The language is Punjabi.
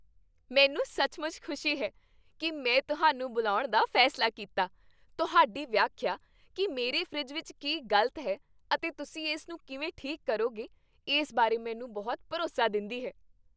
ਮੈਨੂੰ ਸੱਚਮੁੱਚ ਖੁਸ਼ੀ ਹੈ ਕਿ ਮੈਂ ਤੁਹਾਨੂੰ ਬੁਲਾਉਣ ਦਾ ਫੈਸਲਾ ਕੀਤਾ ਤੁਹਾਡੀ ਵਿਆਖਿਆ ਕਿ ਮੇਰੇ ਫਰਿੱਜ ਵਿੱਚ ਕੀ ਗ਼ਲਤ ਹੈ ਅਤੇ ਤੁਸੀਂ ਇਸਨੂੰ ਕਿਵੇਂ ਠੀਕ ਕਰੋਗੇ ਇਸ ਬਾਰੇ ਮੈਨੂੰ ਬਹੁਤ ਭਰੋਸਾ ਦਿੰਦੀ ਹੈ